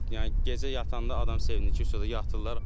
Yəni gecə yatanda adam sevinir ki, yatırlar.